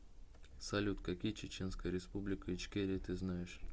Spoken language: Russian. салют какие чеченская республика ичкерия ты знаешь